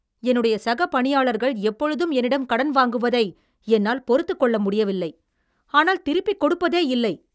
என்னுடைய சக பணியாளர்கள் எப்பொழுதும் என்னிடம் கடன் வாங்குவதை என்னால் பொறுத்துக்கொள்ள முடியவில்லை, ஆனால் திருப்பிக் கொடுப்பதேயில்லை.